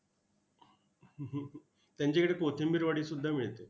हं हं हं त्यांच्याकडे कोथिंबरी वडीसुद्धा मिळते.